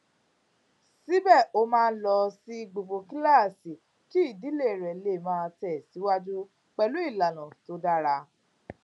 síbè ó máa ń lọ sí gbogbo kíláàsì kí ìdílé rè lè máa tèsíwájú pẹlú ìlànà tó dára